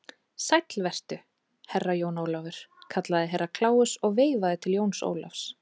Sæll vertu, Herra Jón Ólafur, kallaði Herra Kláus og veifaði til Jóns Ólafs.